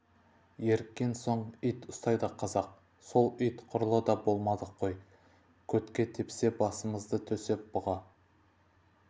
еріккен соң ит ұстайды қазақ сол ит құрлы да болмадық қой көтке тепсе басымызды төсеп бұға